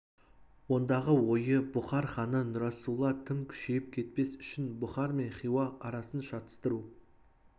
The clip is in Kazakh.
ондағы ойы бұхар ханы нұрасулла тым күшейіп кетпес үшін бұхар мен хиуа арасын шатыстыру